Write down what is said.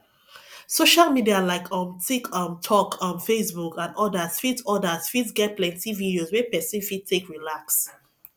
social media like um tik um tok um facebook and odas fit odas fit get plenty videos wey person fit take relax